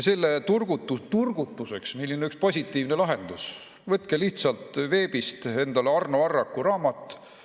Selle turgutuseks on meil üks positiivne lahendus: võtke veebist endale Arno Arraku raamat "What Warming?